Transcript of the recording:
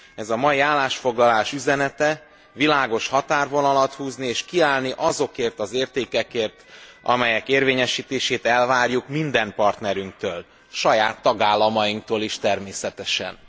Ez a mai állásfoglalás üzenete világos határvonalat húzni, és kiállni azokért az értékekért, amelyek érvényesítését elvárjuk minden partnerünktől, saját tagállamainktól is, természetesen.